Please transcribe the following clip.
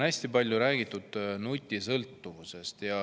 Hästi palju on siin räägitud nutisõltuvusest.